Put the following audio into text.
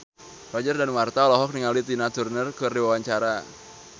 Roger Danuarta olohok ningali Tina Turner keur diwawancara